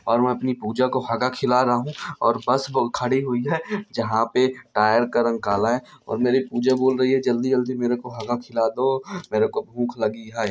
और मैं अपनी पूजा को हगा खिला रहा हूँ और बस ब खड़ी हुई है जहाँ पे टायर का रंग काला है और मेरी पूजा बोल रही है जल्दी-जल्दी मेरे को हगा खिला दो मेरे को भूख लगी है।